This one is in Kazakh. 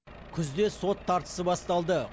күзде сот тартысы басталды